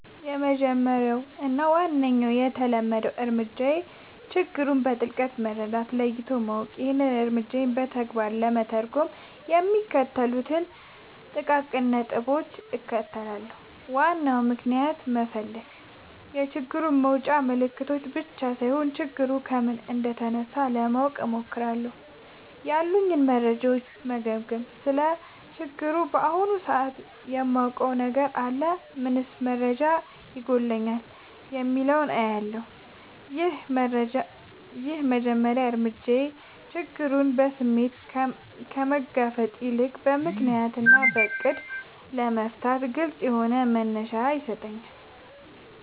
—የመጀመሪያው እና ዋነኛው የተለመደ እርምጃዬ ችግሩን በጥልቀት መረዳት እና ለይቶ ማወቅ ነው። ይህንን እርምጃ በተግባር ለመተርጎም የሚከተሉትን ጥቃቅን ነጥቦች እከተላለሁ፦ ዋናውን ምክንያት መፈለግ፣ የችግሩን ውጫዊ ምልክቶች ብቻ ሳይሆን፣ ችግሩ ከምን እንደተነሳ ለማወቅ እሞክራለሁ። ያሉኝን መረጃዎች መገምገም: ስለ ችግሩ በአሁኑ ሰዓት ምን የማውቀው ነገር አለ? ምንስ መረጃ ይጎድለኛል? የሚለውን እለያለሁ። ይህ የመጀመሪያ እርምጃ ችግሩን በስሜት ከመጋፈጥ ይልቅ በምክንያት እና በዕቅድ ለመፍታት ግልጽ የሆነ መነሻ ይሰጠኛል።